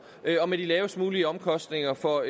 og med de lavest mulige omkostninger for